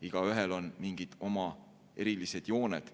Igaühel on mingid oma erilised jooned.